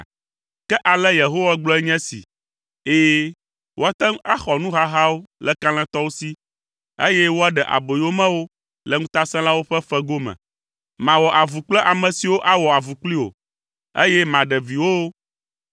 Ke ale Yehowa gblɔ nye esi, “Ɛ̃, woate ŋu axɔ nuhahawo le kalẽtɔwo si, eye woaɖe aboyomewo le ŋutasẽlawo ƒe fego me. Mawɔ avu kple ame siwo awɔ avu kpli wò, eye maɖe viwòwo.